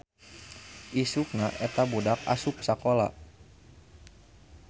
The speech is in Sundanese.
Isukna eta budak asup sakola.